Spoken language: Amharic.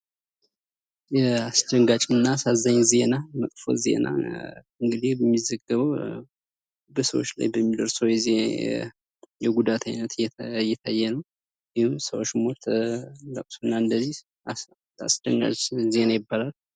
የአስደንጋጭና አሳዛኝ ዜና መጥፎ ዜና እንግዲህ የሚዘገበው በሰዎች ላይ በሚደርሱ ጊዜ የጉዳት አይነት እየታየ ነው። ይህም የሰዎች ሞት ለቅሶና እንደዚህ አስደናቂ ዜና ይባላል።